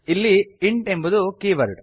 ಇಲ್ಲಿ int int ಎಂಬುದು keyword